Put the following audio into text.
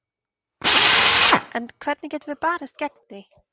En hvernig getum við barist gegn því?